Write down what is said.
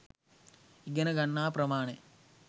ඉගෙන ගන්නා ප්‍රමාණය